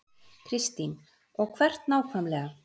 Kristín: Og hvert nákvæmlega?